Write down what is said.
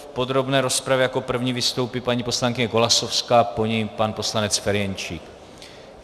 V podrobné rozpravě jako první vystoupí paní poslankyně Golasowská, po ní pan poslanec Ferjenčík.